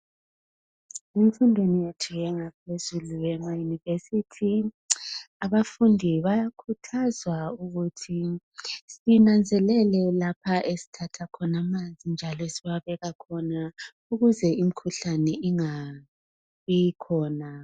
Emfundweni yethu yangaphezulu yamayunivesithi abafundi bayakhuthazwa ukuthi sinanzelele lapho esithatha khona amanzi njalo esiwabeka khona ukuze imikhuhlane ingabi khona.